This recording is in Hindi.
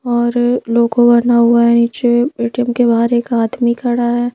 और लोगो बना हुआ है नीचे ए_टी_एम के बाहर एक आदमी खड़ा है।